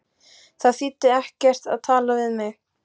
Það þýddi ekkert að tala við mig.